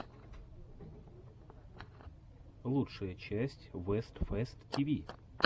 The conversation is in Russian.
лучшая часть вест фест ти ви